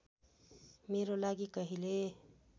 मेरो लागि कहिले